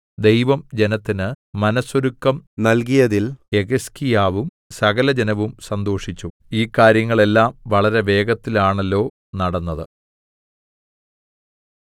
ദൈവം ജനത്തിന് മനസ്സൊരുക്കം നൽകിയതിൽ യെഹിസ്കീയാവും സകലജനവും സന്തോഷിച്ചു ഈ കാര്യങ്ങൾ എല്ലാം വളരെ വേഗത്തിലാണല്ലോ നടന്നത്